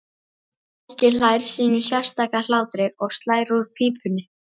Helgi hlær sínum sérstaka hlátri og slær úr pípunni.